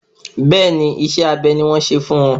Bẹ́ẹ̀ni, isẹ́ abé ni wọ́n ṣe fún wọn